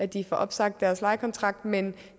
de får opsagt deres lejekontrakt men